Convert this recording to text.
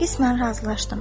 Qismən razılaşdım.